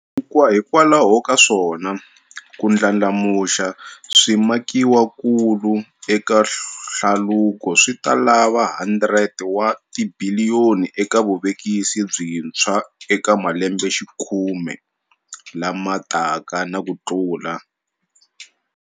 Hikwalaho ka swona, ku ndlandlamuxa swimakiwakulu eka hlaluko swi ta lava R100 wa tibiliyoni eka vuvekisi byintshwa eka malembexikhume lama taka na kutlula.